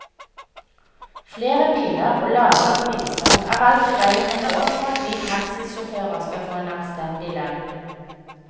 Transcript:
Flere biler og lavere priser er altså veien å gå for at vi taxisjåfører skal få en anstendig lønn.